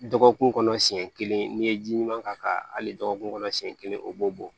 Dɔgɔkun kɔnɔ siɲɛ kelen n'i ye ji ɲuman k'a kan hali dɔgɔkun kɔnɔ siɲɛ kelen o b'o bɔ